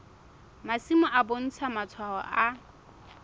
masimo e bontsha matshwao a